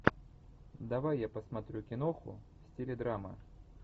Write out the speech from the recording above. давай я посмотрю киноху в стиле драма